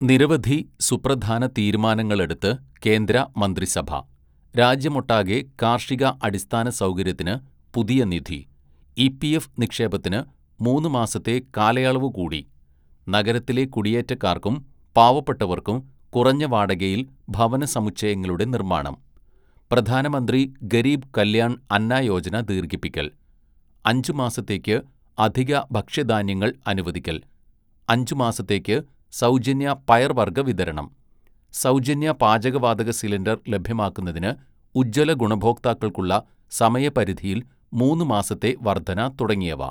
"നിരവധി സുപ്രധാന തീരുമാനങ്ങളെടുത്ത് കേന്ദ്രമന്ത്രിസഭ, രാജ്യമൊട്ടാകെ കാര്‍ഷിക അടിസ്ഥാനസൗകര്യത്തിന് പുതിയ നിധി, ഇപിഎഫ് നിക്ഷേപത്തിന് മൂന്നു മാസത്തെ കാലയളവുകൂടി, നഗരത്തിലെ കുടിയേറ്റക്കാര്‍ക്കും പാവപ്പെട്ടവര്‍ക്കും കുറഞ്ഞ വാടകയില്‍ ഭവന സമുച്ചയങ്ങളുടെ നിര്‍മ്മാണം, പ്രധാനമന്ത്രി ഗരീബ് കല്യാണ്‍ അന്ന യോജന ദീര്‍ഘിപ്പിക്കല്‍, അഞ്ച് മാസത്തേക്ക് അധിക ഭക്ഷ്യധാന്യങ്ങള്‍ അനുവദിക്കല്‍, അഞ്ച് മാസത്തേക്ക് സൗജന്യ പയർവർഗ്ഗ വിതരണം, സൗജന്യ പാചകവാതക സിലിണ്ടര്‍ ലഭ്യമാക്കുന്നതിന് ഉജ്ജ്വല ഗുണഭോക്താക്കള്‍ക്കുള്ള സമയപരിധിയില്‍ മൂന്ന് മാസത്തെ വര്‍ധന തുടങ്ങിയവ. "